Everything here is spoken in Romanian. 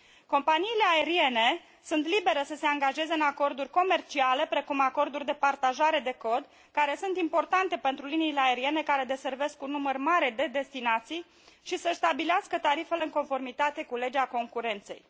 Companiile aeriene sunt libere să se angajeze în acorduri comerciale, precum acorduri de partajare de cod, care sunt importante pentru liniile aeriene care deservesc un număr mare de destinații, și să și stabilească tarifele în conformitate cu legea concurenței.